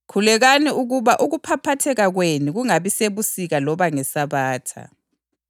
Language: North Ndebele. Khulekelani ukuba ukuphaphatheka kwenu kungabi sebusika loba ngeSabatha.